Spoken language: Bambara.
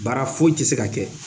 Baara foyi ti se ka kɛ